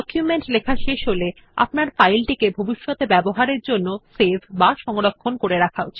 ডকুমেন্টটি লেখা শেষ হলে আপনার ফাইল টিকে ভবিষ্যতে ব্যবহারের জন্য সেভ বা সংরক্ষণ করা উচিত